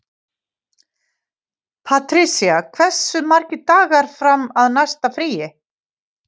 Patrisía, hversu margir dagar fram að næsta fríi?